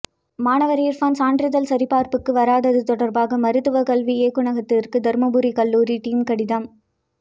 மாணவர் இர்பான் சான்றிதழ் சரிபார்ப்புக்கு வராதது தொடர்பாக மருத்துவ கல்வி இயக்குனரகத்துக்கு தருமபுரி கல்லூரி டீன் கடிதம்